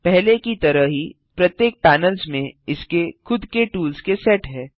पहले की तरह ही प्रत्येक पैनल्स में इसके खुद के टूल्स के सेट हैं